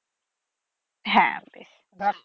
হ্যা